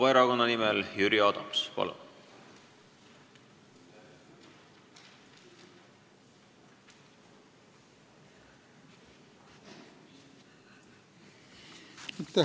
Vabaerakonna nimel Jüri Adams, palun!